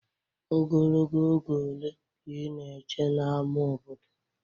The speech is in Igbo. Ogologo oge ole ka ị na-eche n'ámá obodo?